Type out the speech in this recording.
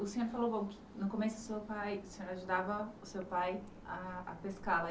E o senhor falou, bom, que no começo o senhor pai, o senhor ajudava o seu pai a a pescar lá